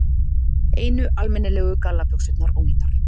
Einu almennilegu gallabuxurnar ónýtar.